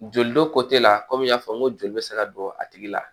Joli dɔ kɔtɛ la kɔmi n y'a fɔ n ko joli bɛ se ka don a tigi la